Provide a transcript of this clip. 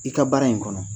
I ka baara in kɔnɔ